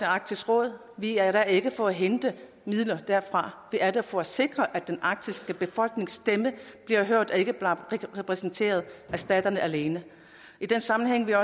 arktisk råd vi er der ikke for at hente midler derfra vi er der for at sikre at den arktiske befolknings stemme bliver hørt og ikke bare bliver repræsenteret af staterne alene i den sammenhæng vil